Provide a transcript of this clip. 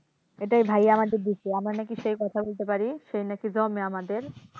এটাই ভাইয়া আমাদের দিছে আমরা নাকি সে কথা কইতে পারি সে নাকি জম্মে আমাদের